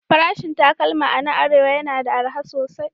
Farashin takalma a nan Arewa yana da arha sosai